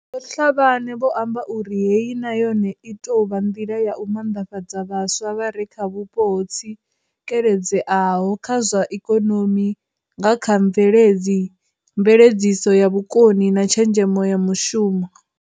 Vho Tlhabane vho amba uri Heyi na yone i tou vha nḓila ya u manḓafhadza vhaswa vha re kha vhupo ho tsikeledzeaho kha zwa ikonomi nga kha mveledziso ya vhukoni na tshenzhemo ya mushumo.